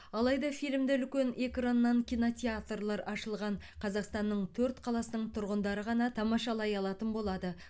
алайда фильмді үлкен экраннан кинотеатрлар ашылған қазақстанның төрт қаласының тұрғындары ғана тамашалай алатын болады